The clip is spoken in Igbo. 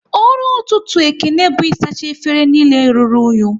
Ọrụ ọtụtụ Ekene bụ isacha efere niile rụrụ unyi